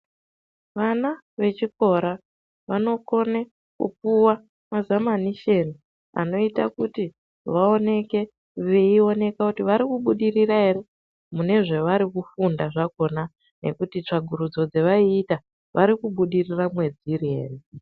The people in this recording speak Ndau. Vana vechikora vanokone kupuwa mazamanisheni anoita kuti vaoneke veioneka kuti vari kubudirira ere mune zvavari kufunda zvakhona nekuti tsvakurudzo dzachona vari kubudirira mwadziri ere.